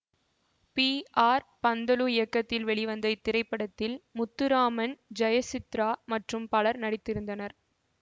B R Panthulu இயக்கத்தில் வெளிவந்த இத்திரைப்படத்தில் முத்துராமன் ஜெயசித்ரா மற்றும் பலரும் நடித்திருந்தனர்